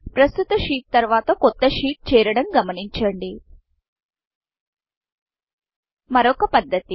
ప్రస్తుత షీట్ షీట్తర్వాత కొత్త షీట్ షీట్చేరడం గమనించండి మరొక పధ్ధతి